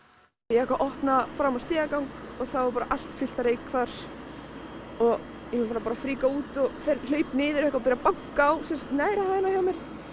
ég eitthvað opna fram á stigagang og þá var bara allt fullt af reyk þar ég bara fríka út hleyp niður og byrja banka á neðri hæðina hjá